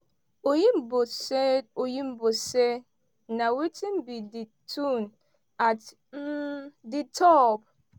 oyinbo say oyinbo say na wetin be di tone at um di top?